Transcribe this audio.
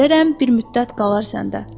İzin verərəm bir müddət qalar səndə.